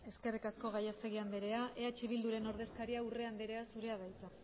eskerrik asko gallastegi andrea eh bilduren ordezkaria urrea anderea zurea da hitza